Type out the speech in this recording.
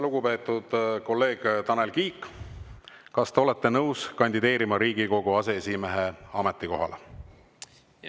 Lugupeetud kolleeg Tanel Kiik, kas te olete nõus kandideerima Riigikogu aseesimehe ametikohale?